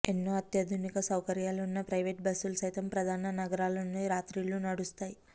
ఎన్నో అత్యాధునిక సౌకర్యాలు ఉన్న ప్రవేట్ బస్సులు సైతం ప్రధాన నగరాల నుండి రాత్రుళ్ళు నడుస్తాయి